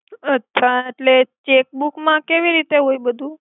અછા એટ્લે ચેક્બુક મા કેવી રિતે હોય બધુ.